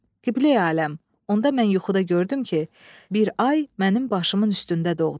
Qibləyi aləm, onda mən yuxuda gördüm ki, bir ay mənim başımın üstündə doğdu.